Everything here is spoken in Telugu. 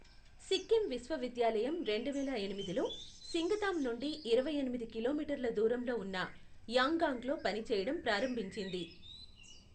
సిక్కిం విశ్వవిద్యాలయం రెండువేల ఎనిమిదిలో, సింగతామ్ నుండి ఇరవై ఎనిమిది కిలోమీటర్ల దూరంలో ఉన్న యాంగాంగ్లో పనిచేయడం ప్రారంభించింది.